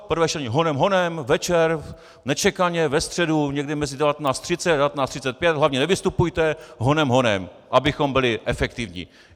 Prvé čtení honem, honem, večer, nečekaně, ve středu, někdy mezi 19.30 a 19.35, hlavně nevystupujte, honem, honem, abychom byli efektivní.